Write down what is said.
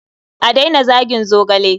A daina zagin zogale.